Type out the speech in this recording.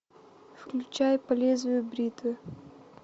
включай по лезвию бритвы